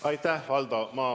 Aitäh, Valdo!